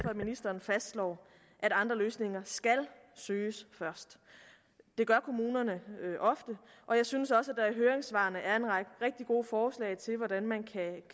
at ministeren fastslår at andre løsninger skal søges først det gør kommunerne ofte og jeg synes også at der i høringssvarene er en række rigtig gode forslag til hvordan man kan